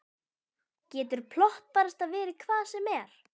Getur plott barasta verið hvað sem er?